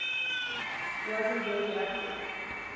wasn t radioactive